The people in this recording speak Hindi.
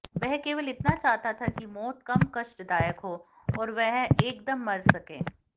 वह केवल इतना चाहता था कि मौत कम कष्टदायक हो और वह एकदम मर सके